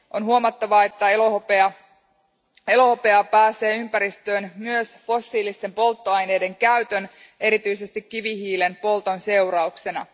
On huomattava, että elohopeaa pääsee ympäristöön myös fossiilisten polttoaineiden käytön, erityisesti kivihiilen polton, seurauksena.